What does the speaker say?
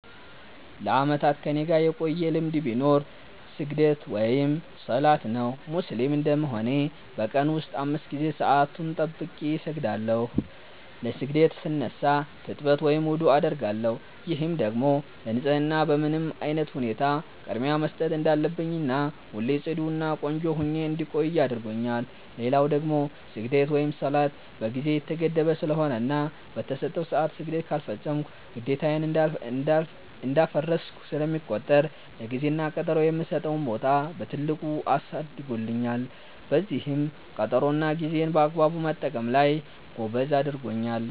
ለአመታት ከኔጋ የቆየ ልማድ ቢኖር ስግደት(ሰላት) ነው። ሙስሊም እንደመሆኔ በ ቀን ውስጥ 5 ጊዜ ሰአቱን ጠብቄ እሰግዳለው። ለ ስግደት ስነሳ ትጥበት(ውዱዕ) አደርጋለው፤ ይህም ደግሞ ለ ንፀህና በምንም አይነት ሁኔታ ቅድሚያ መስጠት እንዳለብኝና ሁሌ ፅዱ እና ቆንጆ ሁኜ እንድቆይ አድርጎኛል። ሌላው ደግሞ ስግደት(ሰላት) በ ጊዜ የተገደበ ስለሆነና በ ተሰጠው ሰዐት ስግደት ካልፈፀምኩ ግዴታዬን እንዳፈረስኩ ስለሚቆጠር ለ ጊዜ እና ቀጠሮ የምሰጠውን ቦታ በትልቁ አሳድጎልኛል፤ በዚህም ቀጠሮ እና ጌዜን በአግባቡ መጠቀም ላይ ጎበዝ አድርጎኛል።